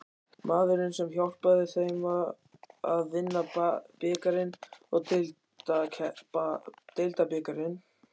Maðurinn sem hjálpaði þeim að vinna bikarinn og deildabikarinn?